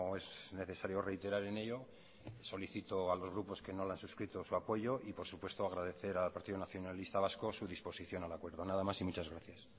es necesario reiterar en ello solicito a los grupos que no lo han suscrito su apoyo y por supuesto agradecer al partido nacionalista vasco su disposición al acuerdo nada más y muchas gracias